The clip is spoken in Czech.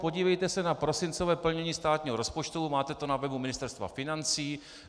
Podívejte se na prosincové plnění státního rozpočtu, máte to na webu Ministerstva financí.